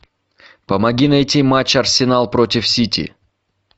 помоги найти матч арсенал против сити